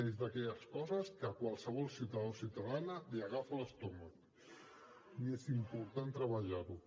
és d’aquelles coses que a qualsevol ciutadà o ciutadana li remou l’estómac i és important treballar ho